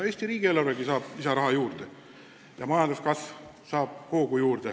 Eesti riigieelarvegi saab lisaraha juurde ja majanduskasv hoogustub.